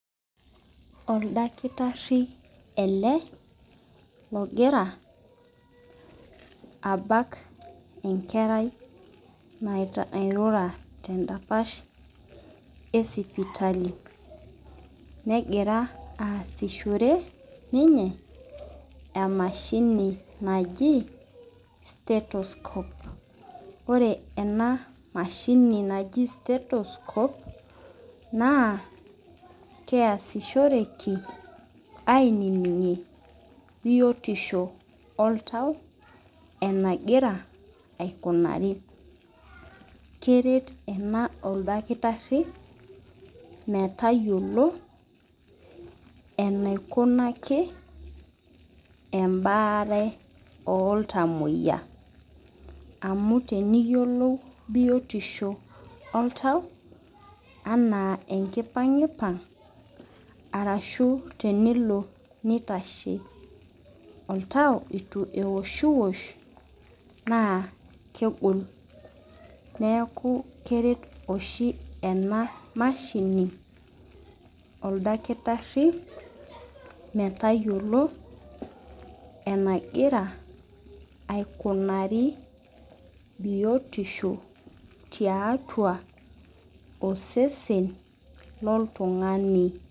Oldakitari ele ogira abak enkerai nairura tendapash esipitali negira aasishore emashini najib statuscope ore ena mashini naji status cope na keasishoreki na keasishoreki ainingisho oltau enagira aikunari keret ena oldakitari metayiolo enaikunaki embaare oltamoyia amu teniyiolou biotisho oltau ana enkipangipang ashu tenilo nitasho oltau itu ewoshiosh kegol neaku keret oshi ena mashini oldakitari metayiolo enagira aikunari biotisho tiatua osesen loltungani.